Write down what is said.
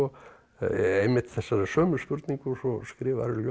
einmitt þessarar sömu spurningar og svo skrifarðu ljóð